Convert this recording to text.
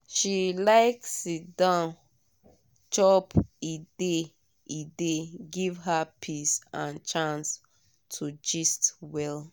she like sit-down chop e dey e dey give her peace and chance to gist well.